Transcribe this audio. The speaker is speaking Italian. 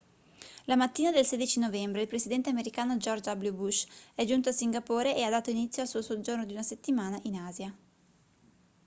la mattina del 16 novembre il presidente americano george w bush è giunto a singapore e ha dato inizio al suo soggiorno di una settimana in asia